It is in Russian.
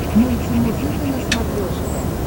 мультимузыка на смотрешке